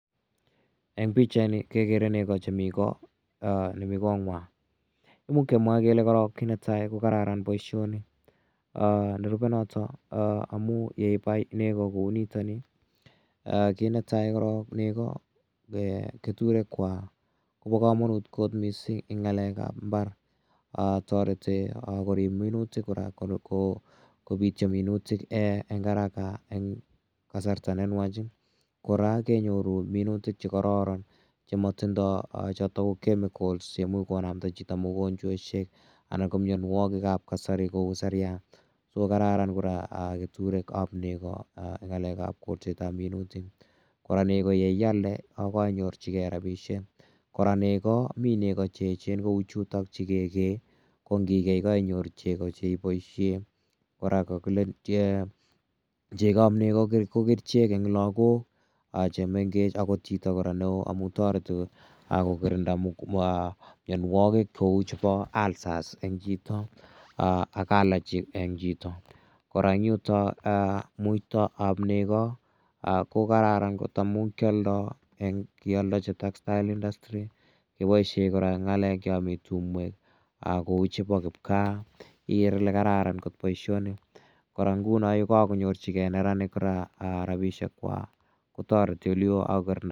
Eng' pichaini kekere nego chemi ko, nemi kong'wang'. Imuch kemwa korok kele kiit netai ko kararan poishoni. Nerupe notok amu yeipai nego kou nitani, kiit netai korok nego, keturekwak ko pa kamanut kot missing' eng' ng'alek ap mbar. Tareti korip minutik kopitya minutik eng' haraka eng' kasarta ne nwach. Kora kenyoru minutik che kararan che matindai chotok ko chemicals che imuch konamda chito mogonchweshiek anan ko mianwagik ap kasari kou siryat. So kararan kora keturek ap nego eng' ng'alek ap kolset ap minutik. Kora nego ye ialde ko kainyorchigei rapishek. Kora nego, mi nego che echen cheu chutok che ke kee. Ko ngikei ko kainyoru cheko che ipaishe. Kora ko kakile cheko ap nego ko kerichek eng' lagok che mengech akot chito kora ne oo amu tareti ko kirinda mianwagik kou chepo ulcers eng chito ak allergy eng chito. Kora eng' yutok muita ap nego ko kararan kot amu kialdai kealdachin textile industry. Kipaishe kora eng' ya mi tumwek kou chepo kipkaa igere ile kararan kot poishoni. Kora nguno yu kakonyorcigei neranik rapishekwak ko tareti ole oo ak kokirinda chorset(uh).